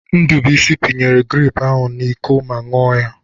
Ndubuisi pinyere grepụ ahụ n'Iko ma ṅụọ ya.